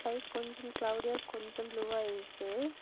Sky கொஞ்சம் கிளவுடியா கொஞ்சம் ப்ளூவா இருக்கு.